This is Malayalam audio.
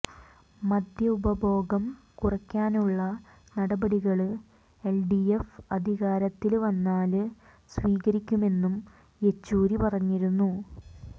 മദ്യ ഉപഭോഗം കുറയ്ക്കാനുള്ള നടപടികള് എല്ഡിഎഫ് അധികാരത്തില് വന്നാല് സ്വീകരിക്കുമെന്നും യെച്ചുരി പറഞ്ഞിരുന്നു